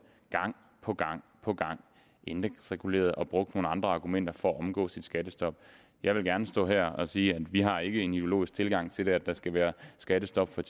gang på gang på gang indeksregulerede og brugte nogle andre argumenter for at omgå et skattestop jeg vil gerne stå frem her og sige at vi ikke har en ideologisk tilgang til at der skal være skattestop for